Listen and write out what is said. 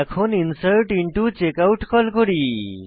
এখন insert into checkout call করি